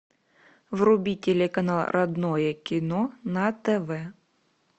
вруби телеканал родное кино на тв